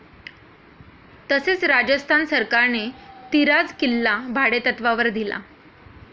तसेच राजस्थान सरकारने तिराज किल्ला भाडेतत्वावर दिला.